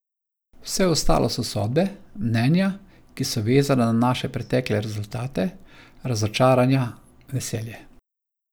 Vse ostalo so sodbe, mnenja, ki so vezana na naše pretekle rezultate, razočaranja, veselje.